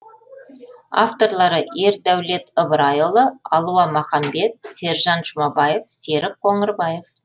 авторлары ердәулет ыбырайұлы алуа маханбет сержан жұмабаев серік қоңырбаев